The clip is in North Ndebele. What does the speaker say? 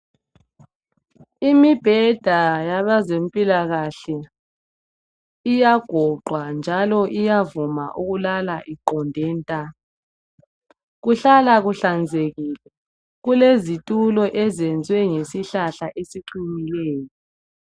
Imibheda yabezempilakahle iyagoqwa njalo iyavuma ukulala iqonde nta. Kuhlala kuhlanzekile kulezitulo ezenziwe ngesihlahla esiqinileyo.